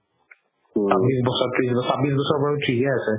চাব্বিশ বছৰ ত্ৰিশ বছৰ চাব্বিশ বছৰ বাৰু থিকে আছে